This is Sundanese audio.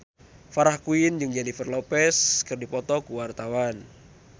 Farah Quinn jeung Jennifer Lopez keur dipoto ku wartawan